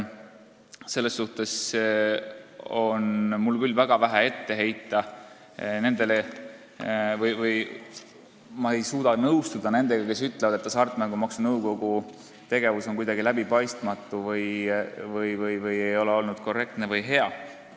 Selles suhtes on mul küll väga vähe ette heita ja ma ei saa nõustuda nendega, kelle sõnul hasartmängumaksu nõukogu tegevus on kuidagi läbipaistmatu või ei pole olnud korrektne ja hea.